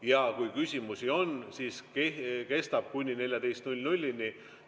Ja kui küsimusi on, siis see kestab kuni 14.00‑ni.